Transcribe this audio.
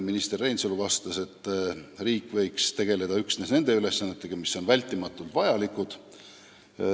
Minister Reinsalu vastas, et riik võiks tegelda üksnes nende ülesannetega, mis on vältimatult vajalikud.